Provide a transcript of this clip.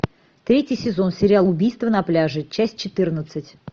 третий сезон сериал убийство на пляже часть четырнадцать